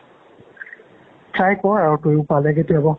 try ক'ৰ আৰু তইও পালে কেতিয়াবা